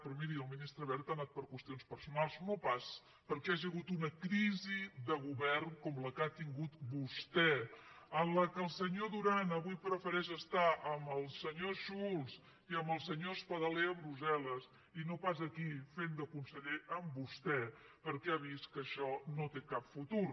però miri el ministre wert ha anat per qüestions personals no pas perquè hi hagi hagut una crisi de govern com la que ha tingut vostè en la qual el senyor duran avui prefereix estar amb el senyor schulz i amb el senyor espadaler a brussel·aquí fent de conseller amb vostè perquè ha vist que això no té cap futur